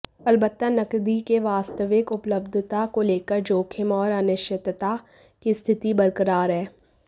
अलबत्ता नकदी की वास्तविक उपलब्धता को लेकर जोखिम और अनिश्चितता की स्थिति बरकरार है